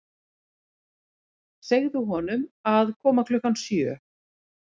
Segðu honum að koma klukkan sjö.